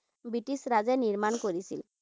British ৰাজে নিৰ্মাণ কৰিছিল।